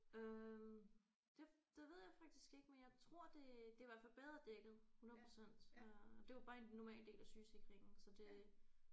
Øh det det ved jeg faktisk ikke men jeg tror det det er i hvert fald bedre dækket 100% øh det var bare en normal del af sygesikringen så det